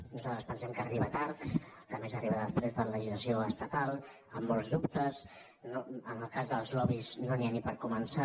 nosaltres pensem que arriba tard que a més arriba després de la legislació estatal amb molts dubtes no en el cas dels lobbys no n’hi ha ni per començar